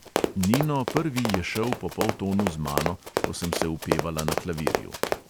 Nino prvi je šel po poltonu z mano, ko sem se upevala na klavirju.